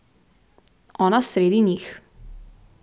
Ona sredi njih.